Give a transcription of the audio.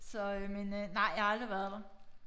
Så øh men øh nej jeg har aldrig været der